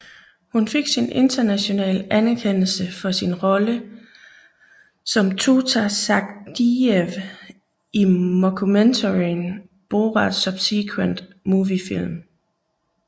Hun fik international anerkendelse for sin rolle som Tutar Sagdiyev i mockumentaryen Borat Subsequent Moviefilm